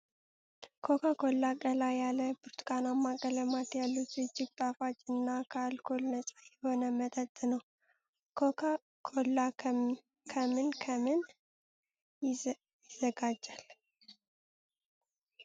ኮካ ኮላ ቀላ ያለ ብርቱካናማ ቀለማት ያሉት እጅግ ጣፋጭ እና ከአልኮል ነፃ የሆነ መጠጥ ነው። ኮካ ኮላ ከምን ከምን ይዘጋጃል?